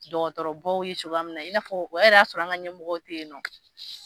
Dɔkɔtɔrɔbaw ye cogoya min na, i na fɔ o yɛrɛ y'a sɔrɔ an ga ɲɛmɔgɔ te yen nɔ.